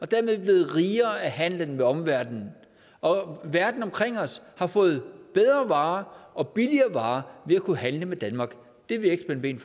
dermed blevet rigere af handelen med omverdenen og verden omkring os har fået bedre varer og billigere varer ved at kunne handle med danmark det vil vil